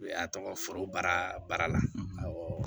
y'a tɔgɔ foroba baara baara la